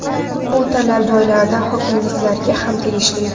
Bu talab joylarda hokimlarga ham tegishli.